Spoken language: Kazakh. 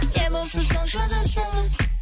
не болса соны жаза салып